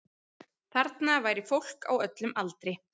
Þarna væri fólk á öllum aldri